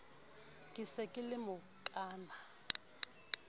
ke se ke le mokaana